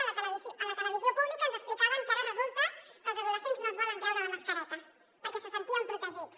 a la televisió pública ens explicaven que ara resulta que els adolescents no es volen treure la mascareta perquè se senten protegits